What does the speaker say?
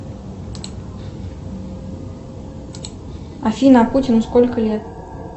афина а путину сколько лет